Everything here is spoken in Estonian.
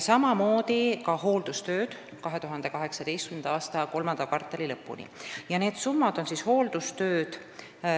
2018. aasta kolmanda kvartali lõpuni tehakse ka hooldustöid.